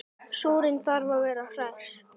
Súrinn þarf að vera hress!